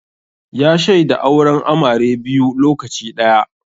Ya shaida auren amare biyu lokaci ɗaya